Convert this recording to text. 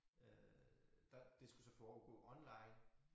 Øh der det skulle så foregå online